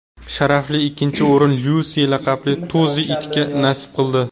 Sharafli ikkinchi o‘rin Lyusi laqabli tozi itga nasib qildi.